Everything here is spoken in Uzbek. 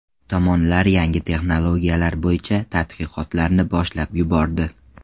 Tomonlar yangi texnologiyalar bo‘yicha tadqiqotlarni boshlab yubordi.